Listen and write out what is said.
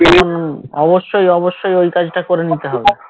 উম অবশ্যই অবশ্যই ওই কাজটা করে নিতে হবে